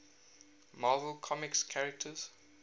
marvel comics characters